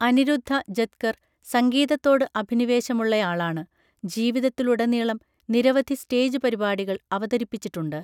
അനിരുദ്ധ ജത്കർ സംഗീതത്തോട് അഭിനിവേശമുള്ളയാളാണ്, ജീവിതത്തിലുടനീളം നിരവധി സ്റ്റേജ് പരിപാടികൾ അവതരിപ്പിച്ചിട്ടുണ്ട്.